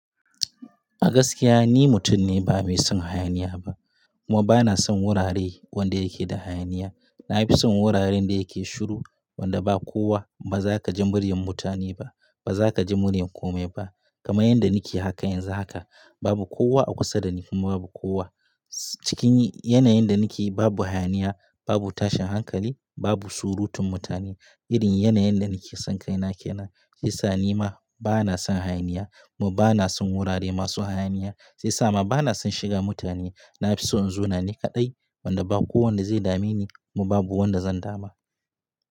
A gaskiya ni mutum ne ba mai son hayaniya ba, kuma ba na son wurare wanda yake da hayaniya. Na fi son wuraren da yake shiru wanda ba kowa, ba za ka ji muryar mutane ba, ba za ka ji muryar kome ba. Kamar yadda ni ke haka yanzu haka, babu kowa a kusa da ni kuma babu kowa cikin yanayin da ni ke babu hayaniya, babu tashin hankali, babu surutun mutane. Irin yanayin da ni ke son kai na ke nan, shiyasa ni ma ba na son hayaniya kuma ba na son wurare masu hayaniya. Shiyasa ma ba na son shiga mutane. Na fi son in zauna ni kaɗai wanda ba kowa wanda zai dame ni kuma babu wanda zan dama.